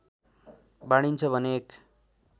बाँडिन्छ भने एक